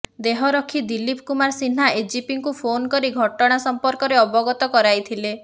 ଦେହରକ୍ଷୀ ଦିଲୀପ କୁମାର ସିହ୍ନା ଏଡିଜିଙ୍କୁ ଫୋନ୍ କରି ଘଟଣା ସମ୍ପର୍କରେ ଅବଗତ କରାଇଥିଲେ